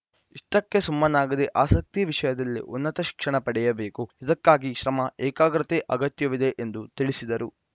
ಇಷ್ಟಕ್ಕೆ ಸುಮ್ಮನಾಗದೆ ಆಸಕ್ತಿ ವಿಷಯದಲ್ಲಿ ಉನ್ನತ ಶಿಕ್ಷಣ ಪಡೆಯಬೇಕು ಇದಕ್ಕಾಗಿ ಶ್ರಮ ಏಕಾಗ್ರತೆ ಅಗತ್ಯವಿದೆ ಎಂದು ತಿಳಿಸಿದರು